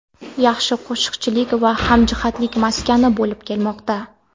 yaxshi qo‘shnichilik va hamjihatlik maskani bo‘lib kelmoqda.